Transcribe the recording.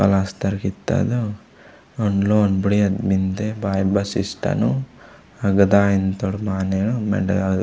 पलस्तर कित्ता ओदु ओंड लोना बुड़िया मेन्दे बाय बस स्टैन्डु आगा दायमूत्तोर मानेरु मेण्डे आय।